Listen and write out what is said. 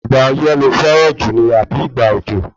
Ìgbà ọyẹ́ lo fẹ́ran jù ni àbí ìgbà òjò?